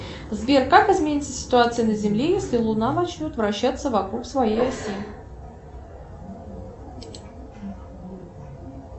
сбер как изменится ситуация на земле если луна начнет вращаться вокруг своей оси